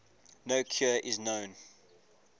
no cure is known